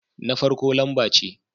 Na farko lamba ce